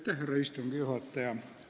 Härra istungi juhataja!